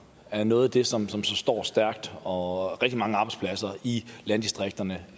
er noget af det som som står stærkt og rigtig mange arbejdspladser i landdistrikterne